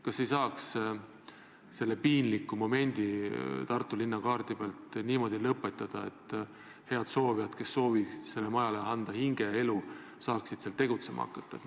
Kas saaks selle piinliku momendi Tartu linna kaardi peal niimoodi lõpetada, et head soovijad, kes soovivad sellele majale anda hinge ja elu, saaksid seal tegutsema hakata?